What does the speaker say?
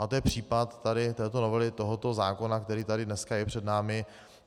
A to je případ této novely tohoto zákona, který tady dneska je před námi.